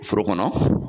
Foro kɔnɔ